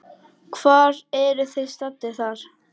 Hvar eruð þið staddir þar?